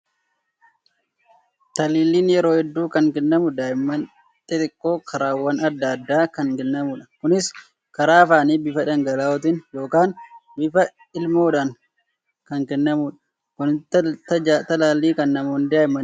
Taliilliin yeroo hedduu kan kennamu daa'imman xixiqqoo karaawwan adda addaa kan kennamudha. Kunis karaa afaanii bifa dhangala'ootiin yookaan bifa lilmoodhaan kan kennamudha. Gosootni talaallii kan namoonni daa'immaniif kennaman maal fa'i?